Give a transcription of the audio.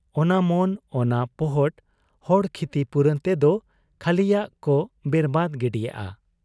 ᱚᱱᱟ ᱢᱚᱱ ᱚᱱᱟ ᱯᱚᱦᱚᱴ ᱦᱚᱲ ᱠᱷᱤᱛᱤᱯᱩᱨᱚᱱ ᱛᱮᱫᱚ ᱠᱷᱟᱹᱞᱤᱭᱟᱜ ᱠᱚ ᱵᱮᱨᱵᱟᱫᱽ ᱜᱤᱰᱤᱜ ᱟ ᱾